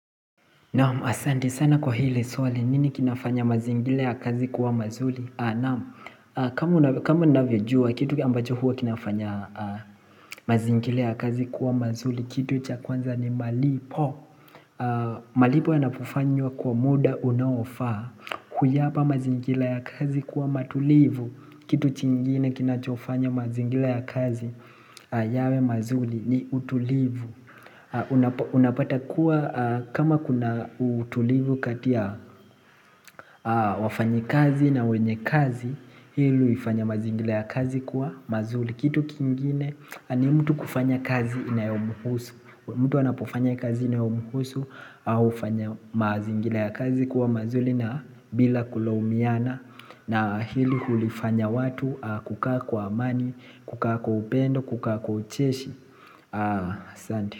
Naamu Asante sana kwa hile swali nini kinafanya mazingira ya kazi kuwa mazuli Naamu kama uvyojua kitu ambacho huwa kinafanya mazingira ya kazi kuwa mazuli Kitu chakwanza ni malipo malipo yanapofanywa kwa muda unaofaa huyapa mazingira ya kazi kuwa matulivu Kitu chingine kinachofanya mazingira ya kazi yawe mazuli ni utulivu Unapata kuwa kama kuna utulivu katia wafanyakazi na wenye kazi Hili uifanya mazingira ya kazi kuwa mazuli Kitu kingine ni mtu kufanya kazi inayomuhusu mtu anapofanya kazi inayomuhusu hufanya mazingira ya kazi kuwa mazuli na bila kulaumiana na hili hulifanya watu kukaa kwa amani, kukaa kwa upendo, kukaa kwa ucheshi Ah, asante.